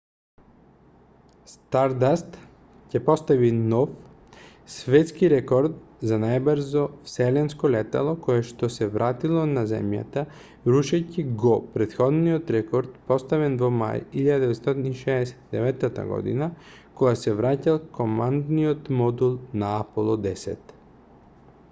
стардаст ќе постави нов светскирекорд за најбрзо вселенско летало коешто се вратило на земјата рушејќи го претходниот рекорд поставен во мај 1969 година кога се враќал командниот модул на аполо x